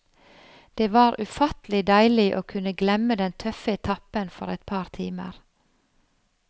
Det var ufattelig deilig å kunne glemme den tøffe etappen for et par timer.